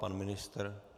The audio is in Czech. Pan ministr?